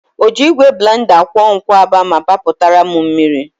Ọ ji igwe blenda kwụọ nkwụaba ma papụtara m mmiri?